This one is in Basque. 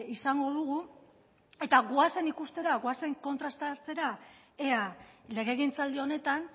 izango dugu eta goazen ikustera goazen kontrastatzera ea legegintzaldi honetan